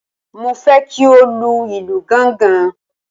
Mo fẹ́ kí ó lu ìlù gángan.